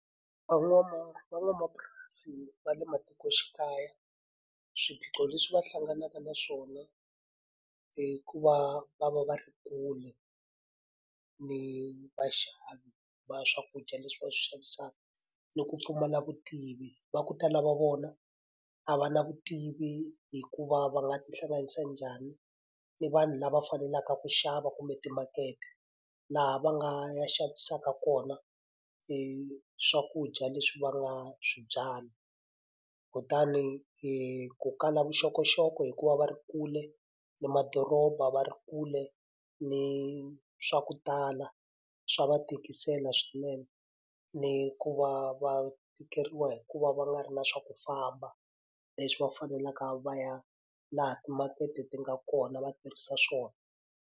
Van'wamapurasi va le matikoxikaya swiphiqo leswi va hlanganaka na swona i ku va va va va ri kule ni vaxavi va swakudya leswi va swi xavisaka, ni ku pfumala vutivi. Va ku tala va vona a va na vutivi hi ku va va nga tihlanganisa njhani ni vanhu lava faneleke ku xava kumbe timakete laha va nga xavisaka kona swakudya leswi va nga swi byala. Kutani ku kala vuxokoxoko hi ku va va ri kule ni madoroba, va ri kule ni swa ku tala, swa va tikisela swinene. Ni ku va va tikeriwa hi ku va va nga ri na swa ku famba, leswi va faneleke va ya laha timakete ti nga kona va tirhisa swona.